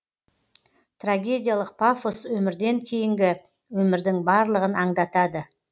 трагедиялық пафос өмірден кейінгі өмірдің барлығын аңдатады